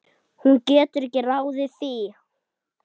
Hún getur ekki ráðið því.